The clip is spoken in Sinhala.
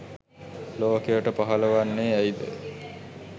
ලෝකයට පහළ වන්නේ ඇයි ද?